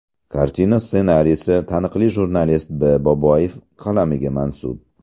Kartina ssenariysi taniqli jurnalist B. Boboyev qalamiga mansub.